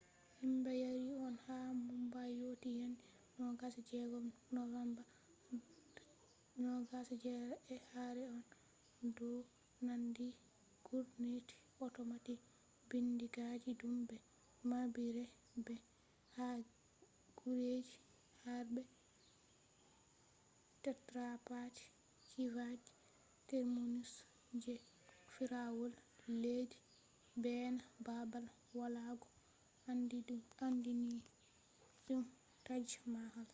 himbe yaarii konne haa mumbai yotti yande 26 novemba 2008 ee karee konne do nanndi gurneti otomatic bindigaaji dum be mabbiree be ha gureji harbe chhatrapati shivaji terminus je fiirawol leddi beena babal walugo aandiininum taj mahal